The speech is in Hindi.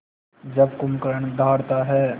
जब कुंभकर्ण दहाड़ता है